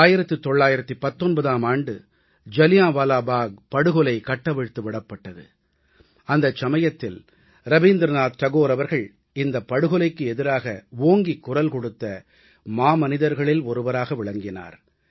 1919ஆம் ஆண்டு ஜாலியான்வாலா பாக் படுகொலை கட்டவிழ்த்து விடப்பட்டது அந்த சமயத்தில் ரவீந்திரநாத் தாகூர் அவர்கள் இந்தப் படுகொலைக்கு எதிராக ஓங்கிக் குரல் கொடுத்த மாமனிதர்களில் ஒருவராக விளங்கினார்